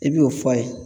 I b'o fɔ a ye